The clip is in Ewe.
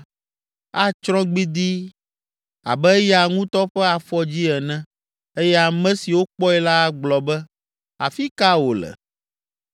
atsrɔ̃ gbidii abe eya ŋutɔ ƒe afɔdzi ene eye ame siwo kpɔe la agblɔ be, ‘Afi ka wòle?’